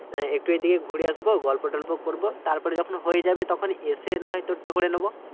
একটু ওই দিকে ঘুরে আসবো গল্প টল্প করবো তারপরে যেকোন হয়ে যাবে তখন এসে নাহয় তোরটা করে নেবো